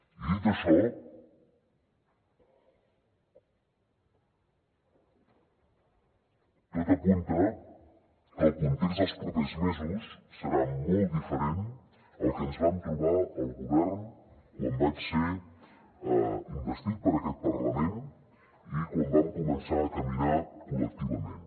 i dit això tot apunta que el context dels propers mesos serà molt diferent al que ens vam trobar al govern quan vaig ser investit per aquest parlament i quan vam començar a caminar col·lectivament